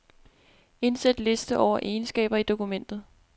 Indsæt liste over egenskaber i dokumentet.